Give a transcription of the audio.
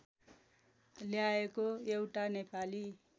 ल्याएको एउटा नेपाली